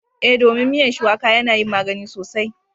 Eh, domin miyan shuwaƙa yana yin magani sosai